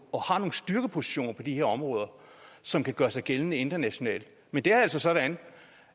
de her områder som kan gøre sig gældende internationalt men det er altså sådan